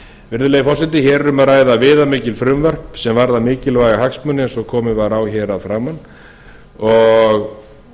virðulegi forseti hér er um að ræða viðamikil frumvörp sem varða mikilvæga hagsmuni eins og komið var á hér að framan og